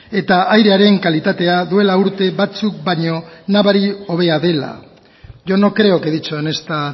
eta airearen kalitatea duela urte batzuk baino nabari hobea dela yo no creo que he dicho en esta